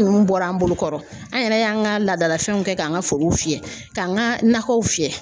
nunnu bɔra an bolokɔrɔ an yɛrɛ y'an ka laadalafɛnw kɛ k'an ka forow fiyɛ, k'an ka nakɔw fiyɛ.